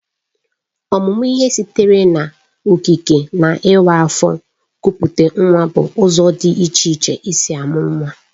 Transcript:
Ọmụmụ ihe sitere n'okike na ịwa afọ kupute nwa bụ ụzọ dị iche iche e si amụ nwa